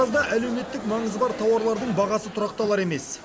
таразда әлеуметтік маңызы бар тауарлардың бағасы тұрақталар емес